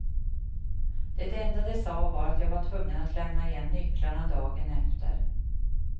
De enda de sa var att jag var tvungen att lämna igen nycklarna dagen efter.